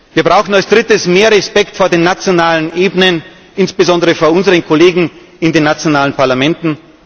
Wir brauchen als Drittes mehr Respekt vor den nationalen Ebenen, insbesondere vor unseren Kollegen in den nationalen Parlamenten.